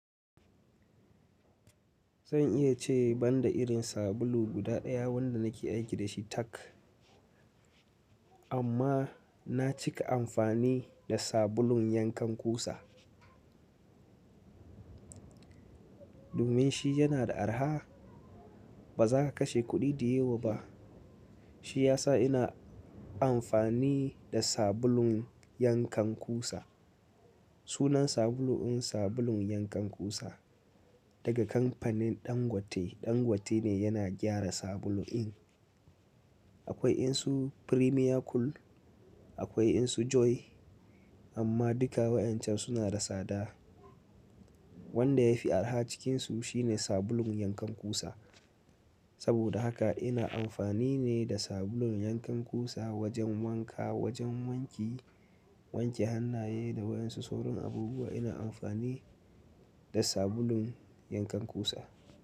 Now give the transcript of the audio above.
Zan iya ce banda irin sabulu guda daya wanda nake aiki da shi tack. Amma na cika amfani da sabulun yankan kusa. Domin shi yana da arha ba za ka kashe kuɗi da yewa ba. Shi ya sa ina amfani da sabulun yankan kusa. Sunan sabulu in sabulun yankan kusa daga kamfanin Dangote. Dangote ne yana gyara sabulu in. Akwai insu Premier Cool akwai insu Joy amma duka waysncan suna da tsada. Wanda yafi arha cikinsu shine sabulun yankan kusa. Saboda haka ina amfani ne da sabulun yankan kusa wajen wanka, wajen wanki wanke hannaye da wayan su sauran abubuwa ina amfani da sabulun yankan kusa.